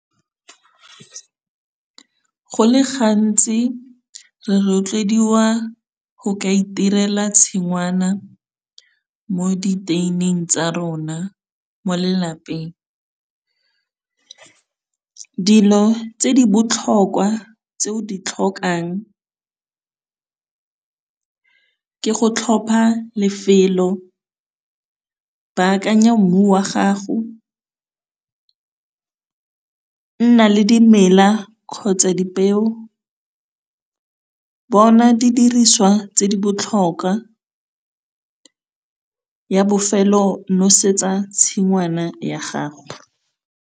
Go le gantsi re rotloediwa go ka itirela tshingwana mo di tsa rona mo lelapeng. Dilo tse di botlhokwa tse o di tlhokang ke go tlhopha lefelo, bakanya mmu wa gago, nna le dimela kgotsa dipeo, bona di diriswa tse di botlhokwa, ya bofelo nosetsa tshingwana ya gago.